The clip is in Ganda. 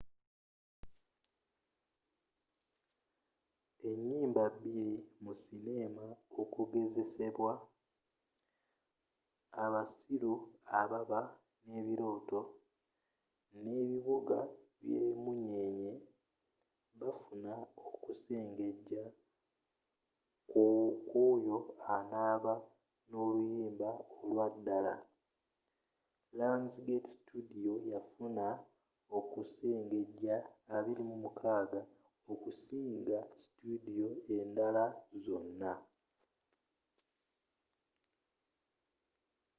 enyimba bbiri mu sineema okugezesebwa abasiru ababa ne birooto n’ebubuga bye munyenye bafuna okusengeja kw’oyo anaba n’oluyimba olwa ddala. lionsgate studio yafuna okusengeja 26 okusinga studio endala zonna